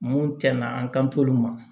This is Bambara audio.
Mun tiɲɛna an kan t'olu ma